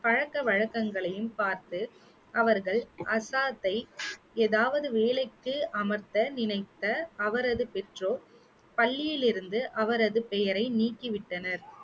பழக்கவழக்கங்களையும் பார்த்து அவர்கள் ஆசாத்தை ஏதாவது வேலைக்கு அமர்த்த நினைத்த அவரது பெற்றோர் பள்ளியிலிருந்து அவரது பெயரை நீக்கி விட்டனர்